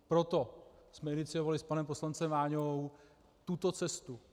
Proto jsme iniciovali s panem poslancem Váňou tuto cestu.